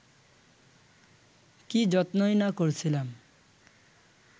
কী যত্নই না করছিলাম